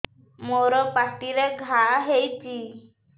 ମୋର ପାଟିରେ ଘା ହେଇଚି